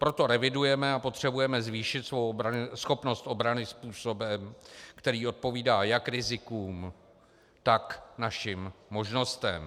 Proto revidujeme a potřebujeme zvýšit svou schopnost obrany způsobem, kterým odpovídá jak rizikům, tak našim možnostem.